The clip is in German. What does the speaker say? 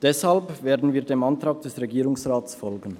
Deshalb werden wir dem Antrag des Regierungsrats folgen.